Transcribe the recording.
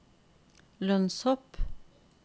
lønnshopp